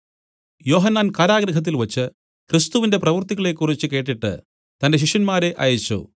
യോഹന്നാൻ കാരാഗൃഹത്തിൽവച്ച് ക്രിസ്തുവിന്റെ പ്രവൃത്തികളെക്കുറിച്ചു കേട്ടിട്ട് തന്റെ ശിഷ്യന്മാരെ അയച്ചു